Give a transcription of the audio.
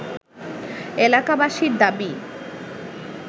এলাকাবাসীর দাবি